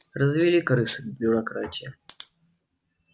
развели крысы бюрократия